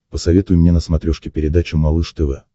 посоветуй мне на смотрешке передачу малыш тв